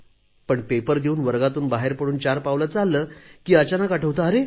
पण पेपर देऊन वर्गातून बाहेर पडून चार पावले चालले की अचानक आठवते